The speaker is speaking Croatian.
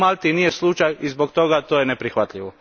To u Malti nije slučaj i zbog toga to je neprihvatljivo.